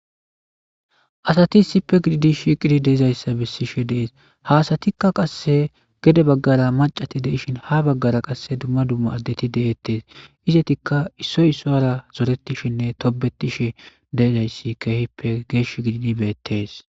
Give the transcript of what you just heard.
asati sippe gididi shiiqidi deizayssa bessishe dees haasatikka qasse gede baggara macati deishin ha baggara qasse dumma dumma addeti de7ettes izetikka issoy issoyra zoretishinne tobetishe deezayssi keehippe geesh gidin beettes